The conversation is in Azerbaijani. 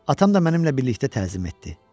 Atam da mənimlə birlikdə təzim etdi.